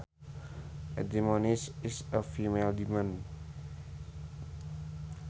A demoness is a female demon